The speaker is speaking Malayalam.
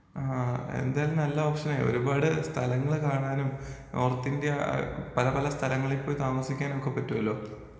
ആ എന്തായാലും നല്ല ഓപ്ഷനാണ് ഒരുപാട് സ്ഥലങ്ങള് കാണാനും നോർത്തിന്ത്യാ പല പല സ്ഥലങ്ങളില് പോയി താമസിക്കാനൊക്കെ പറ്റോലോ.